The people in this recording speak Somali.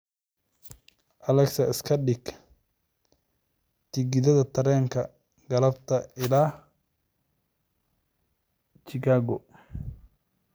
alexa iska dhig tigidh tareen galabta ilaa chicago